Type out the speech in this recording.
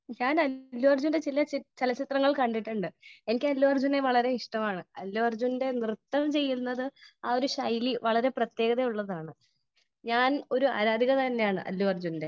Speaker 1 ഞാൻ അല്ലു അർജുന്റെ ചില ചലച്ചിത്രങ്ങൾ കണ്ടിട്ടുണ്ട് . എനിക്ക് അല്ലു അർജുനെ വളരെ ഇഷ്ടമാണ് . അല്ലു അർജുന്റെ നൃത്തം ചെയ്യുന്നത് ആ ഒരു ശൈലി വളരെ ഒരു പ്രത്യേകത ഉള്ളത് ആണ് . ഞാൻ ഒരു ആരാധിക തന്നെ ആണ് അല്ലു അർജുന്റെ.